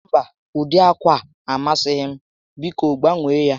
Mba, ụdị ákwà a amasighị m, biko gbanwee ya